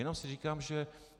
Jenom si říkám, že...